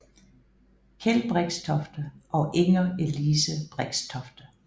Keld Brixtofte og Inger Elise Brixtofte